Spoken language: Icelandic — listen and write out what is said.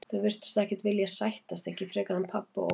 Þau virtust ekkert vilja sættast, ekki frekar en pabbi og Óli.